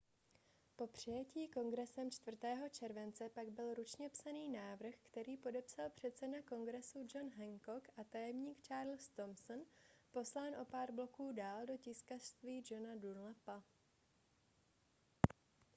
po přijetí kongresem 4. července pak byl ručně psaný návrh který podepsal předseda kongresu john hancock a tajemník charles thomson poslán o pár bloků dál do tiskařství johna dunlapa